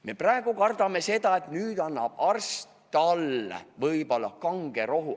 Me praegu kardame, et arst annab talle kange rohu.